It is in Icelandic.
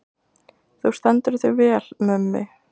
Þú stendur þig vel, Mummi!